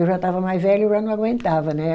Eu já estava mais velha, eu já não aguentava, né?